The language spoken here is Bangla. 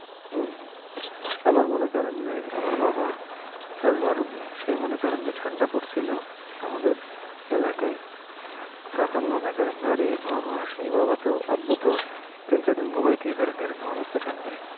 আবার মনে করেন যে, আমার বাবা এসমা রুগী, সে মনে করেন যে ঠাণ্ডা পড়সিল, আমাদের এলাকায়, তখন মনে করেন যে আরি বাবা, আব্বু তো তিন চার দিন তো ঘুমাইতে পারেনি, এই রকম অবস্থা ঠাণ্ডায় ।